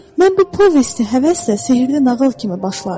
Mən bu povesti həvəslə sehirli nağıl kimi başlardım.